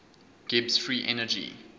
gibbs free energy